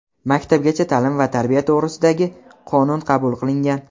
"Maktabgacha taʼlim va tarbiya to‘g‘risida"gi Qonun qabul qilingan.